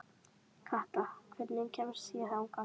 Kata, hvernig kemst ég þangað?